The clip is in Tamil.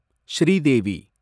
ஸ்ரீதேவி